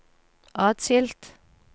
atskilt